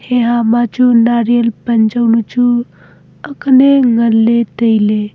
heha ma chu nariyal pan ya nu chu akene ngan ley tailey.